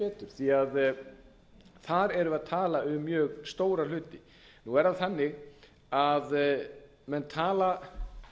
því að þar erum við að tala um mjög stóra hluti nú er það þannig að menn tala